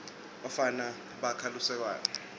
bafana bakha lusekwane